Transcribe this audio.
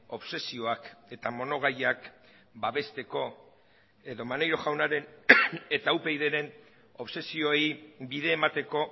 obsesioak eta monogaiak babesteko edo maneiro jaunaren eta upydren obsesioei bide emateko